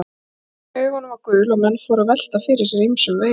Hvítan í augunum var gul og menn fóru að velta fyrir sér ýmsum veirum.